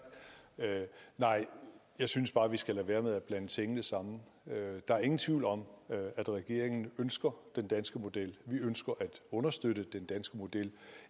nej jeg synes bare vi skal man lade være med at blande tingene sammen der er ingen tvivl om at regeringen ønsker den danske model vi ønsker at understøtte den danske model